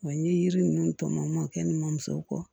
Wa n ye yiri ninnu tɔmɔ kɛ ni mamuso kɔ